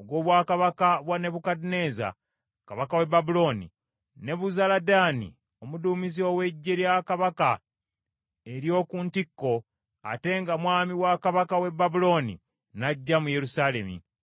ogw’obwakabaka bwa Nebukadduneeza, kabaka w’e Babulooni, Nebuzaladaani omuduumizi ow’eggye lya kabaka ery’oku ntikko, ate nga mwami wa kabaka w’e Babulooni n’ajja mu Yerusaalemi.